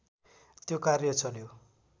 त्यो कार्य चल्यो